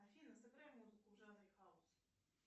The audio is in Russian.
афина сыграй музыку в жанре хаус